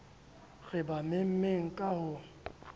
re ba memmeng ka ho